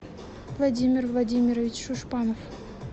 владимир владимирович шушпанов